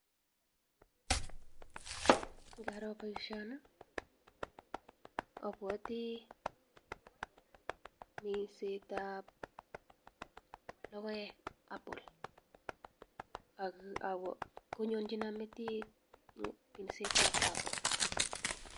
Ngaro boishoni abwoti minsetab lokoek apple ak konyonchinon metit minsetab apple.